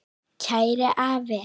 Kæri afi.